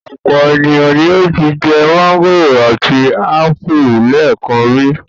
Ọ̀pọ̀ ènìyàn ni ó ti jẹ mángòrò àti ápù lẹ́ẹ̀kan rí.